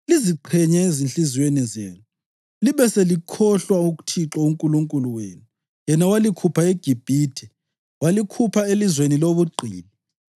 liziqhenye ezinhliziyweni zenu, libe selikhohlwa uThixo uNkulunkulu wenu, yena owalikhupha eGibhithe, walikhupha elizweni lobugqili.